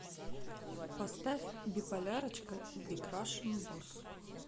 поставь биполярочка биг рашн босс